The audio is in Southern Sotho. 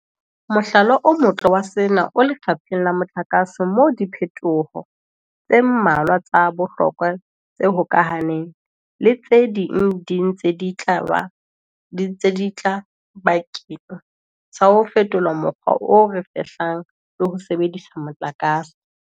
Mohlala o motle wa sena o lefapheng la motlakase moo diphetoho tse mmalwa tsa bohlokwa tse hokahaneng le tse ding di ntseng di tla bakeng sa ho fetola mokgwa o re fehlang le ho sebedisa motlakase.